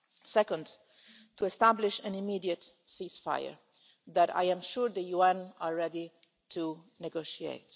Second, to establish an immediate ceasefire, that I am sure the UN is ready to negotiate.